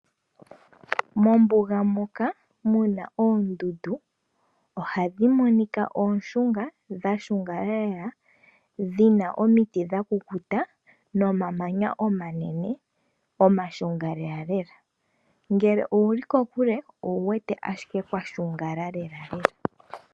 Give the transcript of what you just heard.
Mombuga moka muna oondundu ohadhi monika ooshunga, dha shungala lela dhina omiti dha kukuta no mamanya omanene omashunga lelalela, ngele owuli kokule owu wete ashike kwa shungala lelalela.